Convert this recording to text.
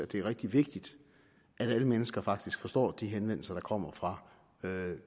det er rigtig vigtigt at alle mennesker faktisk forstår de henvendelser der kommer fra